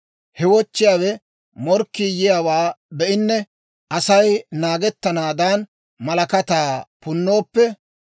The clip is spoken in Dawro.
He wochchiyaawe morkkii yiyaawaa be'inne Asay naagettanaadan, malakataa punnooppe;